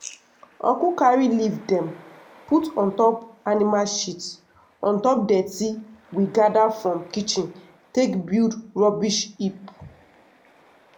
uncle carry leaf dem put on top animal shit on top dirty we gather from kitchen take build rubbish heap.